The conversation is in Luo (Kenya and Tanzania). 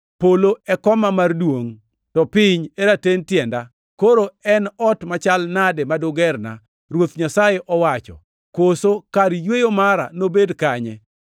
“ ‘Polo e koma mar duongʼ to piny e raten tienda. Koro en ot machal nade ma dugerna? Ruoth Nyasaye owacho. Koso kar yweyo mara nobed kanye?